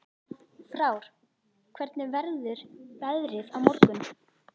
Frár, hvernig verður veðrið á morgun?